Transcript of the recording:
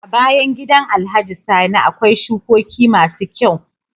A bayan gidan alhaji sani akwai shukoki masu kyau